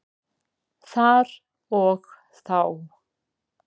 Þar og þá.